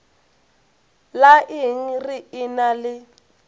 la eng re ena le